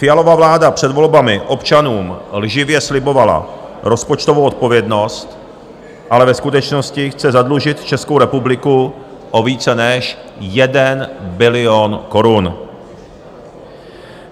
Fialova vláda před volbami občanům lživě slibovala rozpočtovou odpovědnost, ale ve skutečnosti chce zadlužit Českou republiku o více než 1 bilion korun.